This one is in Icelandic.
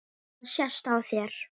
Það sést á þér